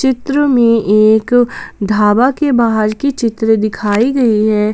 चित्र में एक ढाबा के बाहर की चित्र दिखाई गई है।